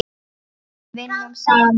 Við vinnum saman.